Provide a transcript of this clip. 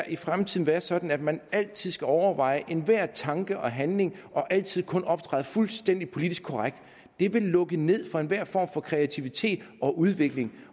i fremtiden være sådan at man altid skal overveje enhver tanke og handling og altid kun optræde fuldstændig politisk korrekt det ville lukke ned for enhver form for kreativitet og udvikling